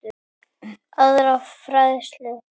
aðra færslu.